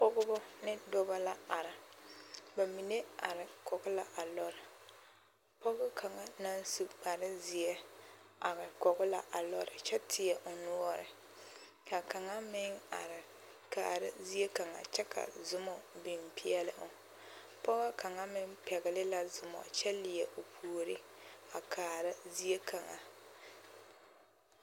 Pɔgebɔ ne dɔbɔ la are, bamine are kɔge la a lɔre, pɔge kaŋa naŋ su kpare zeɛ are kɔge la a lɔre kyɛ teɛ o noɔre ka kaŋa meŋ are kaara zie kaŋa kyɛ ka zomɔ biŋ peɛle o, pɔge kaŋa meŋ pɛgele la zomɔ kyɛ leɛ o puori a kaara zie kaŋa.